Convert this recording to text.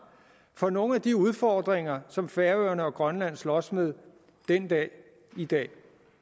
for nogle af de udfordringer som færøerne og grønland slås med den dag i dag